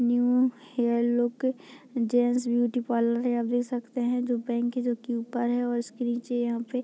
new hair look gents beauty parlour है आप देख सकते है जो बैंक है जो की ऊपर है और इसके नीचे यहां पे --